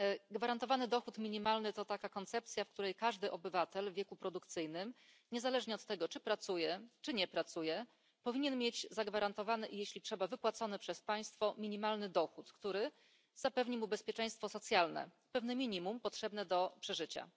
Gwarantowany dochód minimalny to taka koncepcja, zgodnie z którą każdy obywatel w wieku produkcyjnym, niezależnie od tego, czy pracuje, czy nie pracuje, powinien mieć zagwarantowany i, jeśli trzeba, wypłacony przez państwo minimalny dochód, który zapewni mu bezpieczeństwo socjalne, pewne minimum potrzebne do przeżycia.